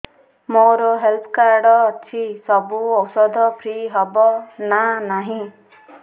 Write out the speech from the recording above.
ମୋର health card ଅଛି ସବୁ ଔଷଧ ଫ୍ରି ହବ ନା ନାହିଁ